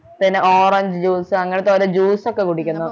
പിന്നെ orange juice അങ്ങനത്തെ ഓരോ juice ഒക്കെ കുടിക്കണം